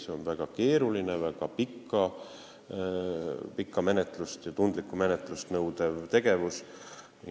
See on väga keeruline, väga pikka ja tundlikku menetlust nõudev tegevus.